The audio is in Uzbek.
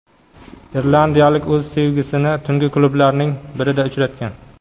Irlandiyalik o‘z sevgisini tungi klublarning birida uchratgan.